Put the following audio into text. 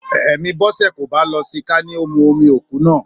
Èmí Bọ́sẹ̀ kò bá lọ sí i ká ní ó mú omi òkú náà